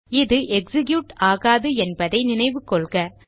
இது எக்ஸிக்யூட் ஆகாது என்பதை நினைவு கொள்க